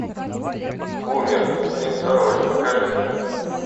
бумер фильм второй покажи